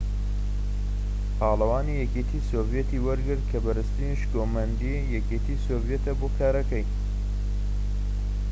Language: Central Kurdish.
پاڵەوانی یەکێتی سۆڤیەت ی وەرگرت کە بەرزترین شکۆمەندیی یەکێتی سۆڤیەتە بۆ کارەکەی